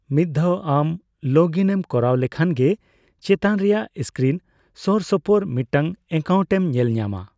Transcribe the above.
ᱢᱤᱫ ᱫᱷᱟᱣ ᱟᱢ ᱞᱚᱜᱽ ᱤᱱ ᱮᱢ ᱠᱚᱨᱟᱣ ᱞᱮᱠᱷᱟᱱ ᱜᱮ, ᱪᱮᱛᱟᱱ ᱨᱮᱭᱟᱜ ᱥᱠᱨᱤᱱ ᱥᱳᱨ ᱥᱳᱯᱳᱨ ᱢᱤᱫᱴᱟᱝ ᱮᱠᱟᱣᱩᱱᱴ ᱮᱢ ᱧᱮᱞ ᱧᱟᱢᱟ ᱾